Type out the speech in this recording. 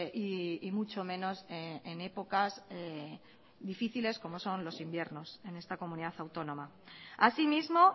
y mucho menos en épocas difíciles como son los inviernos en esta comunidad autónoma asimismo